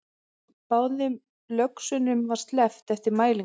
Báðum löxunum var sleppt eftir mælingu